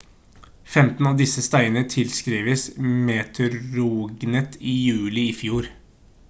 15 av disse steinene tilskrives meteorregnet i juli i fjor